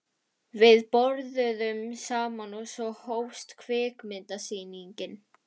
Við borðuðum saman og svo hófst kvikmyndasýningin.